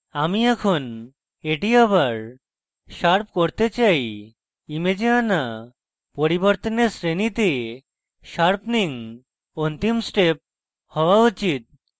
আমি এখন এটি আবার শার্প করতে চাই image আনা পরিবর্তনের শ্রেণীতে sharpening অন্তিম step হওয়া উচিত